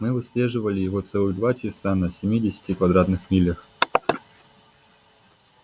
мы выслеживали его целых два часа на семидесяти квадратных милях